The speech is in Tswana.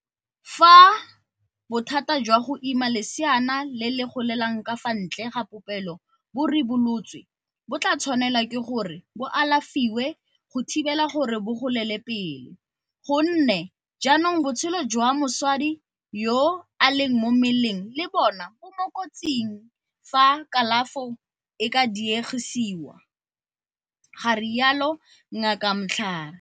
Fa bothata jwa go ima leseana le le golelang ka fa ntle ga popelo bo ribolotswe bo tla tshwanelwa ke gore bo alafiwe go thibela gore bo golele pele, gonne jaanong botshelo jwa mosadi yo a leng mo mmeleng le bone bo mo kotsing fa kalafo e ka diegisiwa, ga rialo Ngaka Mhlari.